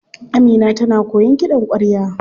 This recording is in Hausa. Amina tana koyan kiɗan kwarya.